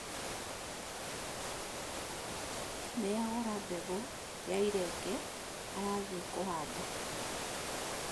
Nĩagũra mbegũya irenge, arathiĩ kũhanda